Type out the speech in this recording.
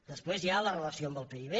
després hi ha la relació amb el pib